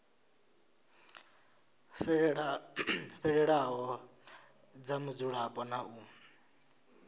fhelelaho dza mudzulapo na u